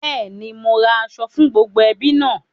Bẹ́ẹ̀ni, mo ra aṣọ fún gbogbo ẹbí náà